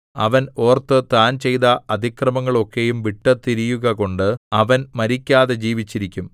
അവൻ ഓർത്ത് താൻ ചെയ്ത അതിക്രമങ്ങളൊക്കെയും വിട്ടുതിരിയുകകൊണ്ട് അവൻ മരിക്കാതെ ജീവിച്ചിരിക്കും